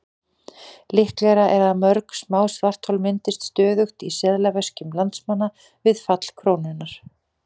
Líklegra er að mörg smá svarthol myndist stöðugt í seðlaveskjum landsmanna við fall krónunnar.